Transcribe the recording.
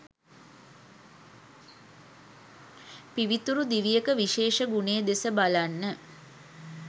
පිවිතුරු දිවියක විශේෂ ගුණය දෙස බලන්න.